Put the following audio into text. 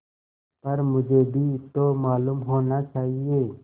पर मुझे भी तो मालूम होना चाहिए